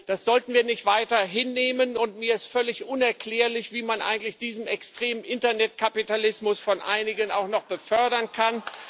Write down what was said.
Das sollten wir nicht weiter hinnehmen, und mir ist völlig unerklärlich, wie man eigentlich diesen extremen Internetkapitalismus von einigen auch noch befördern kann.